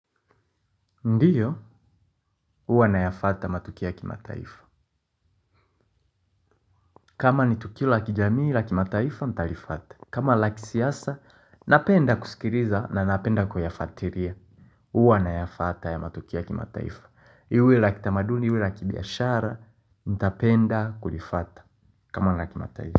Ndiyo, huwa nayafwata matukio ya kimataifa. Kama ni tukio la kijamii, la kimataifa, nitalifwata. Kama la kisiasa, napenda kusikiliza na napenda kuyafwatilia. Uwa na yafata ya matukia kima taifa. Iwe la kitamaduni, iwe la kibiashara, nitapenda, kulifwata. Kama laki mataifa.